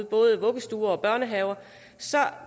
både vuggestuer og børnehaver